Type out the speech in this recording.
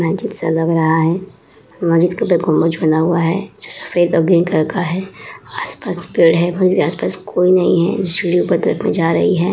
मस्जिद सा लग रहा है। मस्जिद के ऊपर गुम्बज बना हुआ है जो सफेद और ग्रीन कलर का है। आस-पास पेड़ हैं। मस्जिद के आस-पास कोई नहीं हैं जो सीढियाँ ऊपर तरफ जा रही है --